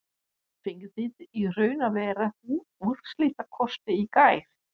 Fenguð þið í raun og veru úrslitakosti í gær?